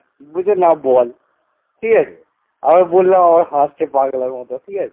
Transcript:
বলছে না বল ঠিক আছে আমি বললাম আবার হাসছে পাগলার মতন। ঠিক আছে